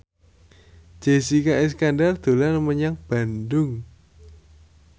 Jessica Iskandar dolan menyang Bandung